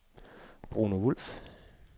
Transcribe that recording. Bruno Wulff